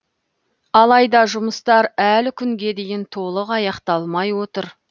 алайда жұмыстар әлі күнге дейін толық аяқталмай отыр